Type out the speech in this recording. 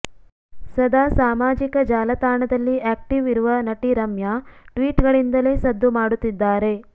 ಸದಾ ಸಾಮಾಜಿಕ ಜಾಲತಾಣದಲ್ಲಿ ಆಕ್ಟೀವ್ ಇರುವ ನಟಿ ರಮ್ಯಾ ಟ್ವಿಟ್ ಗಳಿಂದಲೇ ಸದ್ದು ಮಾಡುತ್ತಿದ್ದಾರೆ